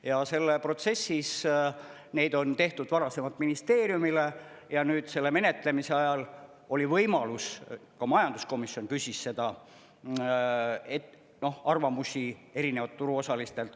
Ja selles protsessis neid on tehtud varasemalt ministeeriumile ja selle menetlemise ajal oli võimalus, ka majanduskomisjon küsis seda, arvamusi erinevatelt turuosalistelt.